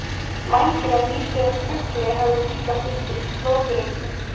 Vængir af nýdauðum fugli höfðu líka fundist flóðreki.